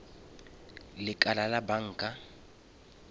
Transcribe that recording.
lekala la banka